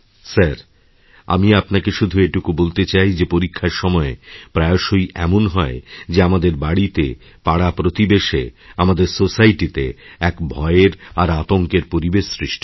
sir আমি আপনাকে শুধু এইটুকু বলতে চাই যে পরীক্ষার সময়েপ্রায়শই এমন হয় যে আমাদের বাড়িতে পাড়াপ্রতিবেশে আমাদের সোসাইটিতে এক ভয়ের আরআতঙ্কের পরিবেশ সৃষ্টি হয়